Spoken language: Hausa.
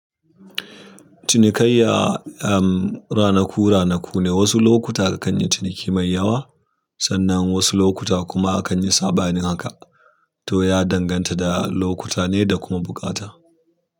Cinikaiya, um, ranaku-ranaku ne. Wasu lokuta akan yi ciniki mai yawa, sannan wasu lokuta kuma akan yi saɓanin haka. To ya danganta da lokuta ne da kuma buƙata.